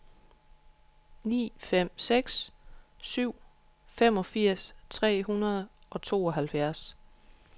ni fem seks syv femogfirs tre hundrede og tooghalvfjerds